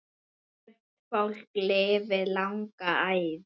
Sumt fólk lifir langa ævi.